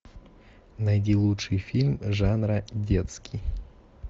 найди лучший фильм жанра детский